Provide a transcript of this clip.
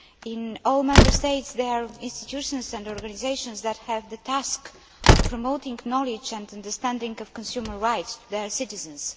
In all Member States, there are institutions and organisations that have the task of promoting knowledge and understanding of consumer rights for their citizens.